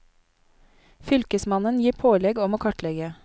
Fylkesmannen gir pålegg om å kartlegge.